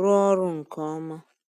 rụọ ọrụ nke ọma.